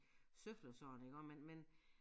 Søfler sådan iggå men men